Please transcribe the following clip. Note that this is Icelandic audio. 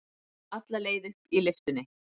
Alla leið upp í lyftunni.